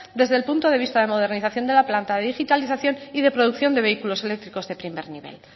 desde el punto de vista de modernización de la planta de digitalización y de producción de vehículos eléctricos de primer nivel